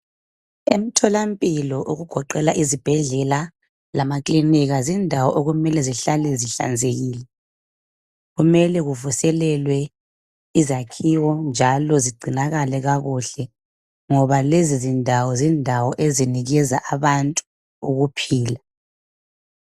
Emtholampilo okugoqela izibhedlela lama clinic zindawo okumele zihlale zihlanzekile kumele kuvuselelwe izakhiwo njalo zigcinakale kakuhle ngoba lezi zindawo zindawo ezinikeza abantu ukuphila